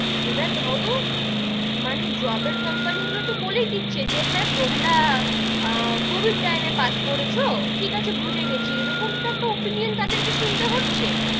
এবার ধরো, মানে job এর company গুলো তো বলেই দিচ্ছে যে, হাঁ তোমরা কোবিদ time এ পাস করেছো ঠিক আছে বুঝে গেছি, এরকম টা তো opinion তাদের কে শুনতে হচ্ছে,